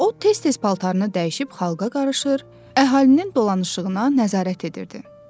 O tez-tez paltarını dəyişib xalqa qarışır, əhalinin dolanışığına nəzarət edirdi.